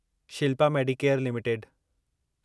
Shilpa Medicare limited